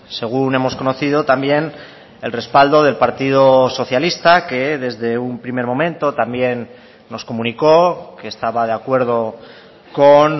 según hemos conocido también el respaldo del partido socialista que desde un primer momento también nos comunicó que estaba de acuerdo con